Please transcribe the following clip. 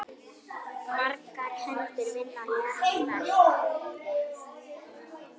Margar hendur vinna létt verk!